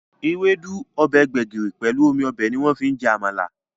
Ewédú, ọbẹ̀ gbẹ̀gìrì, pelu omi ọbẹ̀ ni wọ́n fi ń jẹ Àmàlà